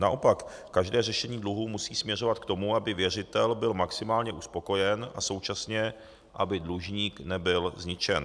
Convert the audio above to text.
Naopak, každé řešení dluhů musí směřovat k tomu, aby věřitel byl maximálně uspokojen a současně aby dlužník nebyl zničen.